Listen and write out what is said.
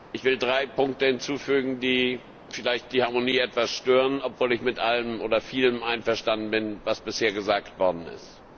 Ich will drei Punkte hinzufügen, die vielleicht die Harmonie etwas stören, obwohl ich mit allem oder mit vielem einverstanden bin, was bisher gesagt worden ist.